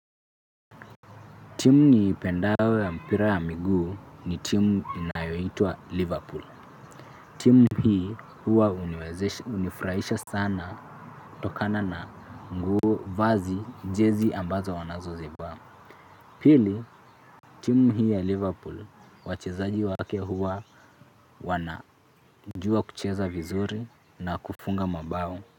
Timu niipendayo ya mpira wa miguu ni timu inayoitwa Liverpool. Timu hii huwa hunifurahisha sana kutokana na nguo vazi jezi ambazo wanazozivaa. Pili timu hii ya Liverpool wachezaji wake huwa wanajua kucheza vizuri na kufunga mabao.